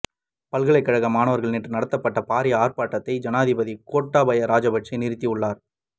பல்கலைக்கழக மாணவர்களினால் நேற்று நடத்தப்பட்ட பாரிய ஆர்ப்பாட்டத்தை ஜனாதிபதி கோட்டாபய ராஜபக்ஷ நிறுத்தியுள்ளார்